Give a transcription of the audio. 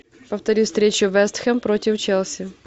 повтори встречу вест хэм против челси